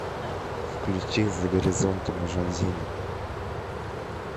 включи за горизонтом жанзини